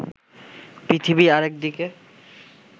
পৃথিবী আরেক দিকে